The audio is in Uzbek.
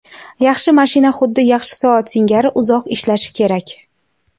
Yaxshi mashina xuddi yaxshi soat singari uzoq ishlashi kerak.